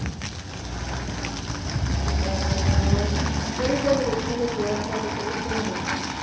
એ બાર લગાવી કરવી પડશે કૈક તો વ્યવસ્થા કરવીજ પડશે ને